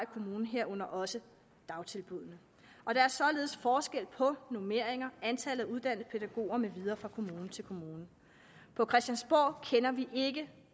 kommunen herunder også dagtilbuddene og der er således forskel på normeringer og antallet af uddannede pædagoger med videre fra kommune til kommune på christiansborg kender vi ikke